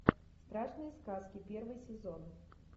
страшные сказки первый сезон